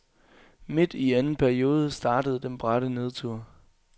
Midt i anden periode startede den bratte nedtur.